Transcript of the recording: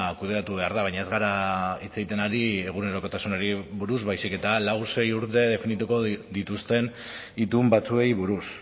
kudeatu behar da baina ez gara hitz egiten ari egunerokotasunari buruz baizik eta lau sei urte definituko dituzten itun batzuei buruz